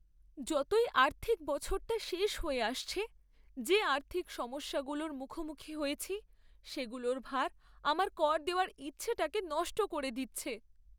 যতই আর্থিক বছরটা শেষ হয়ে আসছে, যে আর্থিক সমস্যাগুলোর মুখোমুখি হয়েছি সেগুলোর ভার আমার কর দেওয়ার ইচ্ছেটাকে নষ্ট করে দিচ্ছে!